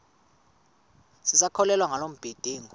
sisakholwa ngala mabedengu